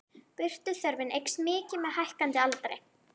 Birtuþörfin eykst mikið með hækkandi aldri.